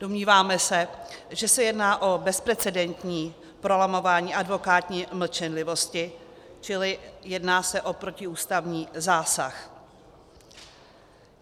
Domníváme se, že se jedná o bezprecedentní prolamování advokátní mlčenlivosti, čili jedná se o protiústavní zásah.